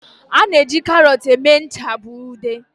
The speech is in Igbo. A na-eji karọt eme ncha bụ ude.